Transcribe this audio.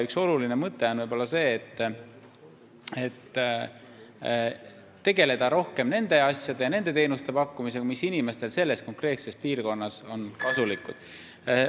Üks olulisi mõtteid on võib-olla see, et tuleb tegeleda rohkem nende asjadega ja nende teenuste pakkumisega, mis inimestele just selles konkreetses piirkonnas kasulikud on.